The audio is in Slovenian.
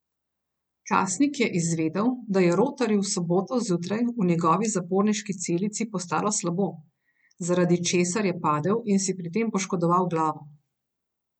Časnik je izvedel, da je Rotarju v soboto zjutraj v njegovi zaporniški celici postalo slabo, zaradi česar je padel in si pri tem poškodoval glavo.